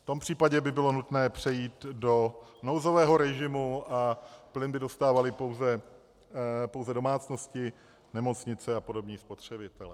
V tom případě by bylo nutné přejít do nouzového režimu a plyn by dostávaly pouze domácnosti, nemocnice a podobní spotřebitelé.